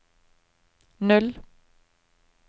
null